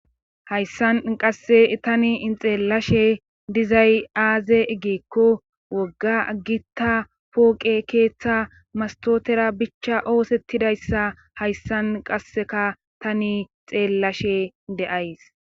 Hayssan qasse tani in xeellashe dizay aaze eggiekko wogga agitta pooqe keeththa mastootera bichcha oosettidayssa hayssan qasseka tani xeellashe de'ays.